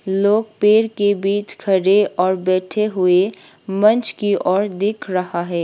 लोग पेर के बीच खड़े और बैठे हुए मंच की ओर देख रहा है।